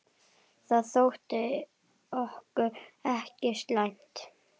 Það þótti okkur ekki slæmt.